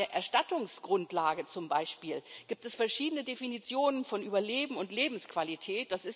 Bei der Erstattungsgrundlage zum Beispiel gibt es verschiedene Definitionen von Überleben und Lebensqualität.